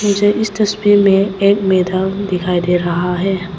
मुझे इस तस्वीर में एक मैदान दिखाई दे रहा है।